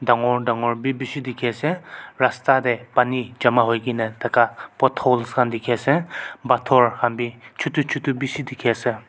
dangor dangor bi bishi dikhiase rasta tae pani jama hoikaena taka potholes khan bi dikhiase phator khan bi chutu chtu bishi dikhiase.